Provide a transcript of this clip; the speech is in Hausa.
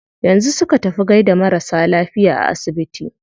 Yanzu su ka tafi gaida marasa lafiya a asibiti?